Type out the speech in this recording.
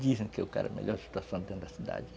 Dizem que o cara é a melhor situação dentro da cidade.